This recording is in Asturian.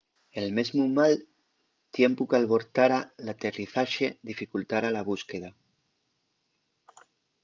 el mesmu mal tiempu qu’albortara l’aterrizaxe dificultara la búsqueda